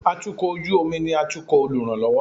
atukọ̀ ojú omi ni atukò oluranlọwọ